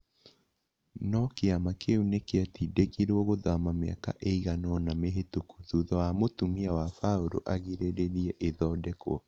No kĩama kĩu nĩ gĩatindĩkirũo gũthama mĩaka ĩigana ũna mĩhĩtũku thutha wa mũtumia wa Paul agirĩrĩrie ĩthondekwo